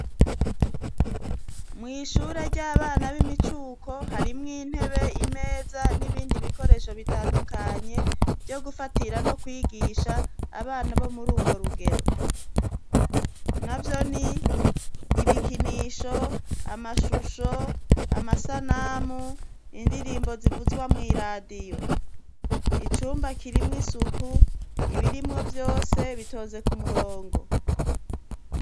Mwishure ry'abana b'imicuko harimwo intebe imeza n'ibindi bikoresho bitandukanye vyo gufatira no kwigisha abana bo muri urwo rugero na vyo ni ibikinisho amashusho amasanamu ndi irimbo zivuzwa mw'i radiyo icumba kirimwo isuku ibirimwo vyose bitoze ku murongo.